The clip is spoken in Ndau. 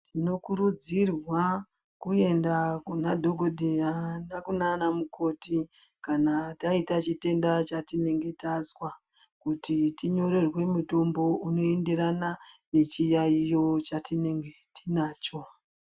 Tinokurudzirwa kuenda kuna dhokodheya nekunana mukoti kana faita chitenda chatinenge tazwa kuti tinyorerwe mutombo unoenderana nechiyaiyo chatinge tinacho.